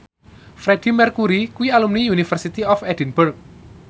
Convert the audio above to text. Freedie Mercury kuwi alumni University of Edinburgh